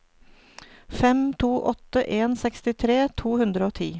fem to åtte en sekstitre to hundre og ti